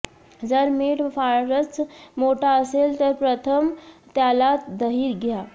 जर मिठ फारच मोठा असेल तर प्रथम त्याला दही द्या